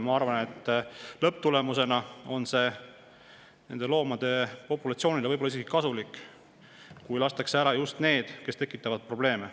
Ma arvan, et lõpptulemusena on see nende loomade populatsioonile võib-olla isegi kasulik, kui lastakse just neid, kes tekitavad probleeme.